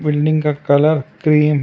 Building का colour cream है।